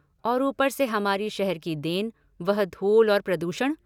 और ऊपर से हमारी शहर की देन, वह धूल और प्रदूषण।